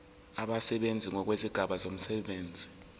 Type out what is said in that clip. abasebenzi ngokwezigaba zomsebenzi